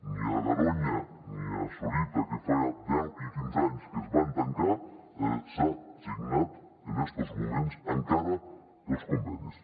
ni a garoña ni a sorita que fa deu i quinze anys que es van tancar s’han signat en estos moments encara els convenis